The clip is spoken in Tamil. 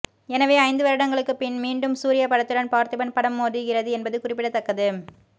எனவே ஐந்து வருடங்களுக்குப் பின் மீண்டும் சூர்யா படத்துடன் பார்த்திபன் படம் மோதுகிறது என்பது குறிப்பிடத்தக்கது